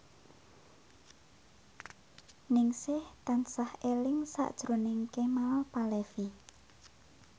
Ningsih tansah eling sakjroning Kemal Palevi